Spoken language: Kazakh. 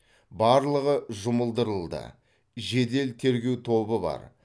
барлығы жұмылдырылды жедел тергеу тобы бар